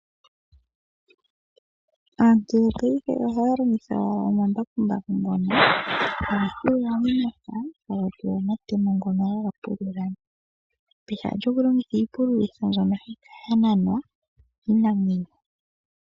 Aantu yopaife ohaya longitha omambakumbaku ngono haga pulula momapya nomatemo ngono haga pulula , pehala lyokulongitha iipululitho mbyono hayi kala yananwa kiinamwenyo.